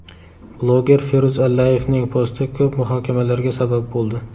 Bloger Feruz Allayevning posti ko‘p muhokamalarga sabab bo‘ldi.